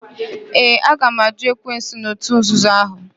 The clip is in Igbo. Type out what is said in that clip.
Ee, aga m àjụ́ ekwensu na òtù nzuzo ahụ.